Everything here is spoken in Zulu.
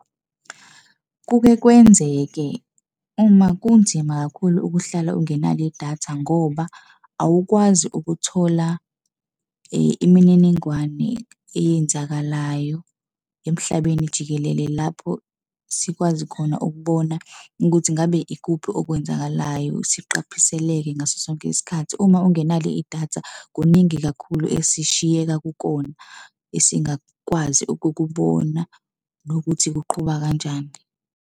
Kuke kwenzeke uma kunzima kakhulu ukuhlala ungenalo idatha ngoba awukwazi ukuthola imininingwane eyenzakalayo emhlabeni jikelele lapho sikwazi khona ukubona ukuthi ngabe ikuphi okwenzakalayo, siqaphiseleke ngaso sonke isikhathi. Uma ungenalo idatha kuningi kakhulu esishiyeka kukona esingakwazi ukukubona nokuthi kuqhuba kanjani.